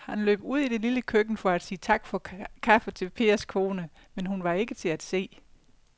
Han løb ud i det lille køkken for at sige tak for kaffe til Pers kone, men hun var ikke til at se.